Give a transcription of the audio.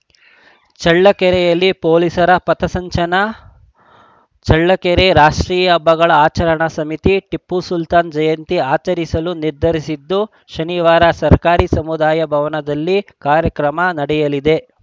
ಚಳ್ಳಕೆರೆಯಲ್ಲಿ ಪೊಲೀಸರ ಪಥಸಂಚನ ಚಳ್ಳಕೆರೆ ರಾಷ್ಟ್ರೀಯ ಹಬ್ಬಗಳ ಆಚರಣಾ ಸಮಿತಿ ಟಿಪ್ಪು ಸುಲ್ತಾನ್‌ ಜಯಂತಿ ಆಚರಿಸಲು ನಿರ್ಧರಿಸಿದ್ದು ಶನಿವಾರ ಸರ್ಕಾರಿ ಸಮುದಾಯ ಭವನದಲ್ಲಿ ಕಾರ್ಯಕ್ರಮ ನಡೆಯಲಿದೆ